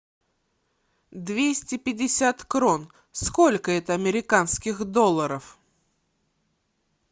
двести пятьдесят крон сколько это американских долларов